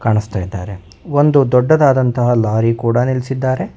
ಒಂದು ದೊಡ್ಡದಾದ ಲಾರಿ ಕೂಡ ನಿಲ್ಲಿಸಿದ್ದಾರೆ.